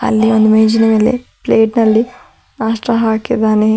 ಅಲ್ಲಿ ಒಂದು ಮೇಜಿನ ಮೇಲೆ ಪ್ಲೇಟ್ ನಲ್ಲಿ ಪಸ್ತಾ ಹಾಕಿದ್ದಾನೆ.